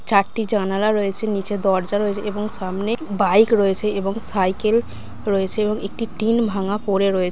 চারটি জানালা রয়েছে নিচে দরজা রয়েছে এবং সামনে বাইক রয়েছে এবং সাইকেল রয়েছে এবং একটি টিন ভাঙ্গা পড়ে রয়ে--